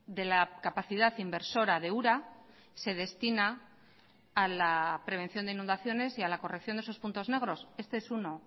de la capacidad inversora de ura se destina a la prevención de inundaciones y a la corrección de esos puntos negros este es uno